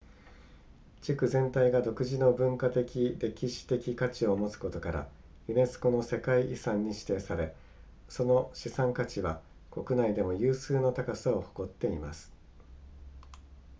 地区全体が独自の文化的歴史的価値を持つことからユネスコの世界遺産に指定されその資産価値は国内でも有数の高さを誇っています